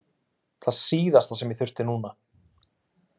Það síðasta sem ég þurfti núna!